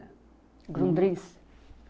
O Grundris.